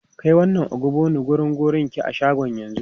Kai wannan ogbono wurin Gogorinki a shagon yanzu!